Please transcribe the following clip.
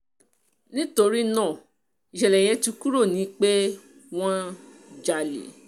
nítorí náà ìṣẹ̀lẹ̀ yẹn ti kúrò ni pé wọ́n jalè